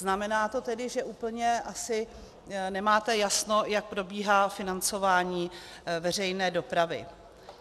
Znamená to tedy, že úplně asi nemáte jasno, jak probíhá financování veřejné dopravy.